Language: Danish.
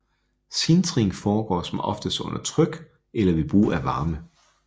Sintring foregår som oftest under tryk eller ved brug af varme